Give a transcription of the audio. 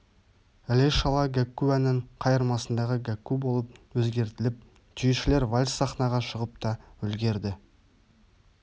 іле-шала гәкку әннің қайырмасындағы гәкку болып өзгертіліп түйешілер вальс сахнаға шығып та үлгерді